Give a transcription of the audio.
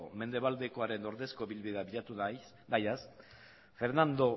mendebaldekoaren ordezko ibilbidea bilatu nahian fernando